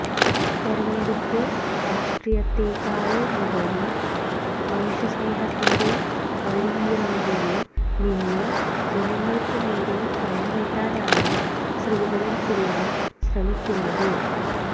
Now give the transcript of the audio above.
തെരഞ്ഞെടുപ്പു രാഷ്ട്രീയത്തെക്കാളുപരി മനുഷ്യസ്നേഹത്തിന്റെ വഴിയിറമ്പില് നിന്ന് ജനങ്ങള്ക്കുനേരെ കൈനീട്ടാനാണ് ശ്രീധരന്പിള്ള ശ്രമിക്കുന്നത്